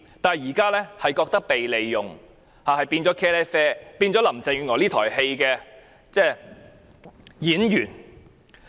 現在市民卻感到被利用，淪為林鄭月娥這台戲的臨時演員。